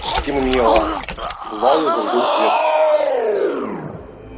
стемнело в зале зажгли свет